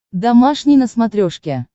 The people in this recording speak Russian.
домашний на смотрешке